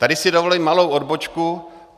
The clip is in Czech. Tady si dovolím malou odbočku.